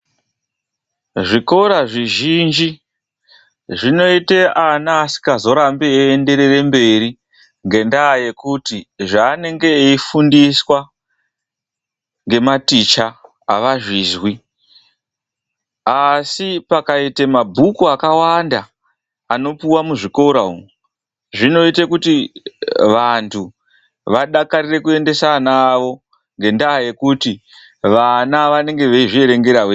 Zvikora zvizhinji, zvinoita ana asingazorambi eienderera mberi ngendaa yekuti zvevanenge veifundiswa ngematicha avazvizwi. Asi pakaite mabhuku akawanda anopuwa muzvikora umwu, zvinoita kuti vanthu vadakarire kuendesa vana vavo. Ngendaa yekuti vana vanenge veizvierengera vega.